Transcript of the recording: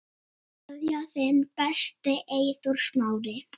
Kveðja, þinn besti, Eyþór Smári.